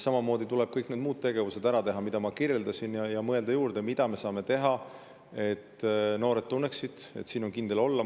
Samamoodi tuleb ära teha kõik need muud tegevused, mida ma kirjeldasin, ja mõelda, mida me saame veel teha, et noored tunneksid, et siin on kindel olla.